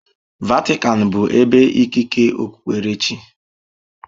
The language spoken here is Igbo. Vatican bụ ebe ikike okpukpere chi.